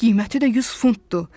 Qiyməti də 100 funtdur.